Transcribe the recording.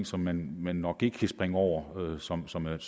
som man nok ikke kan springe over og som som er